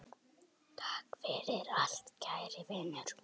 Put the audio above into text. Takk fyrir allt kæri Vinur.